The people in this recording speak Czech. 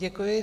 Děkuji.